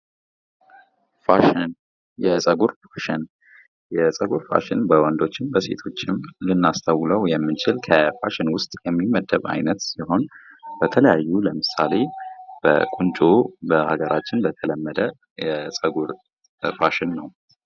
ፋሽን የፀጉር ፋሽን የፀጉር ፋሽን በወንዶችም በሴቶችም ልናስተውለው የምንችል ከፋሽን ውስጥ የሚመደብ ዓይነት ሲሆን በተለያየ ለምሳሌ በቁንጮ በሀገራችን የተለመደ የቁንጮ ፋሽን ነው።